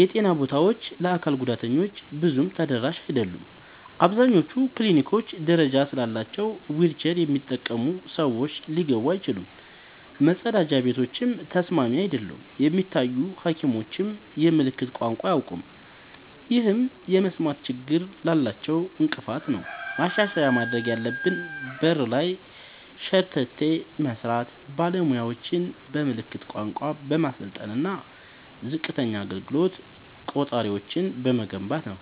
የጤና ቦታዎች ለአካል ጉዳተኞች ብዙም ተደራሽ አይደሉም። አብዛኞቹ ክሊኒኮች ደረጃ ስላላቸው ዊልቸር የሚጠቀሙ ሰዎች ሊገቡ አይችሉም፤ መጸዳጃ ቤቶችም ተስማሚ አይደሉም። የሚታዩ ሐኪሞችም የምልክት ቋንቋ አያውቁም፣ ይህም የመስማት ችግር ላላቸው እንቅፋት ነው። ማሻሻያ ማድረግ ያለብን በር ላይ ሸርተቴ በመስራት፣ ባለሙያዎችን በምልክት ቋንቋ በማሰልጠን እና ዝቅተኛ አገልግሎት ቆጣሪዎችን በመገንባት ነው።